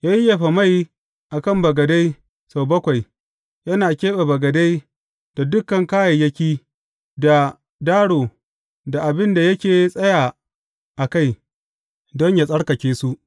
Ya yayyafa mai a kan bagade sau bakwai, yana keɓe bagade da dukan kayayyaki, da daro, da abin da yake tsaya a kai, don yă tsarkake su.